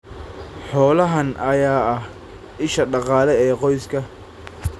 Xoolahan ayaa ah isha dhaqaale ee qoyska.